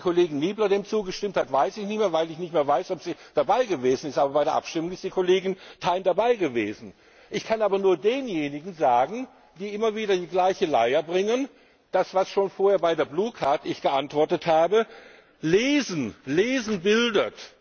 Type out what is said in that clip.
Ob die Kollegin Niebler dem zugestimmt hat, weiß ich nicht mehr, weil ich nicht mehr weiß, ob sie dabei gewesen ist. Aber bei der Abstimmung ist die Kollegin Thein dabei gewesen. Ich kann aber nur denjenigen, die immer wieder die gleiche Leier bringen, sagen, was ich schon vorher bei der blue card geantwortet habe Lesen bildet!